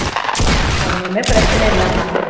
ஒண்ணுமே பிரச்சினை இல்லைமா